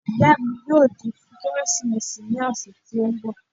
Ìyá mi yóò dé fún Kérésìmesì ní ọ̀sẹ̀ tí ó ń bọ̀